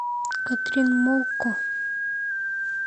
катрин мокко